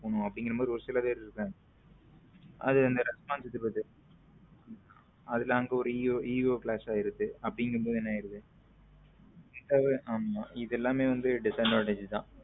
போனும் அப்படிங்கற மாதிரி ஒரு சில பேர் இருக்காங்க அது இது எல்லாமே வந்து disadvantage தான்.